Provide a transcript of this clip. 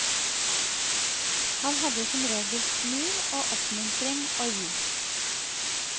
Han hadde som regel smil og oppmuntring å gi.